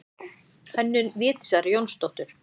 Hönnun Védísar Jónsdóttur.